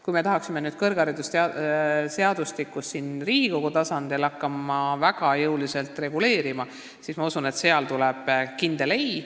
Kui me tahaksime hakata kõrgharidusseadustikku siin Riigikogu tasandil väga jõuliselt reguleerima, siis ma kardan, et neilt tuleks vastuseks kindel ei.